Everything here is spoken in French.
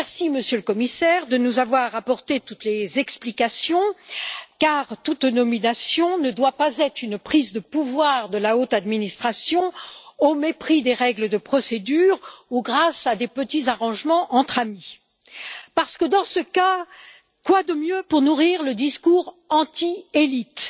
Monsieur le Commissaire, je vous remercie de nous avoir apporté toutes les explications, car toute nomination ne doit pas être une prise de pouvoir de la haute administration, au mépris des règles de procédure ou grâce à des petits arrangements entre amis, parce que dans ce cas, quoi de mieux pour nourrir le discours anti élites,